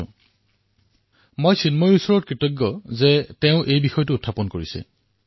মই কন্যা চিন্ময়ীয়ে এই বিষয়টো উত্থাপন কৰা বাব তেওঁক অশেষ ধন্যবাদ জ্ঞাপন কৰিছোঁ